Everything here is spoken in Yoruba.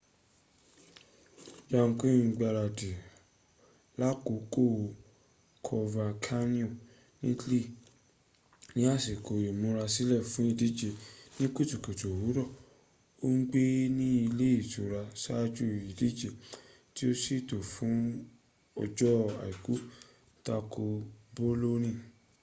jarque ń gbárádì lákòókò coverciano ní italy ní ásíkó ìmúrasílè fún ìdíje ní kùtùkùtù òwúrọ. o ń gbé ni´ ilé ìtura sáájú ìdíje tí a sètò fún ọjọ́ aìkú tako boloni